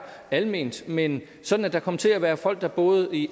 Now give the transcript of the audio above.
alment men sådan at der kommer til at være folk der bor i